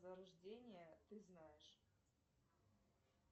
зарождения ты знаешь